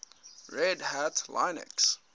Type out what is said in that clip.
red hat linux